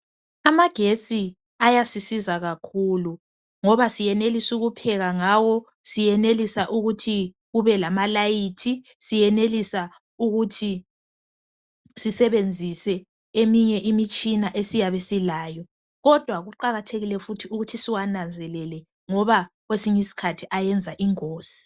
Amagetsi ayasisiza kakhulu. Ngoba siyenelis' ukupheka ngawo, siyenelisa ukuthi kube lamalayithi, siyenelisa ukuthi sisebenzise eminye imitshina esiyabe silayo. Kodwa kuqakathekile futhi ukuthi siwananzelele ngoba kwesiny' iskhathi ayenza ingozi.